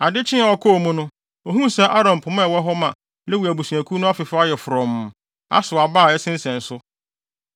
Ade kyee a ɔkɔɔ mu no, ohuu sɛ Aaron pema a ɛwɔ hɔ ma Lewi abusuakuw no afefɛw ayɛ frɔmm, asow aba a ɛsensɛn so.